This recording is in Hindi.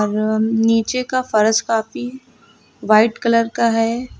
और नीचे का फर्श काफी व्हाइट कलर का है।